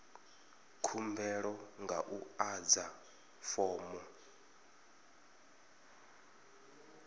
khumbelo nga u adza fomo